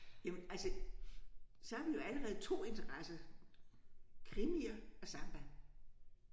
Jamen altså så har vi jo allerede 2 interesser krimier og samba